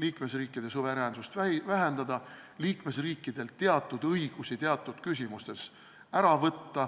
liikmesriikide suveräänsust vähendada, liikmesriikidelt teatud õigusi teatud küsimustes ära võtta.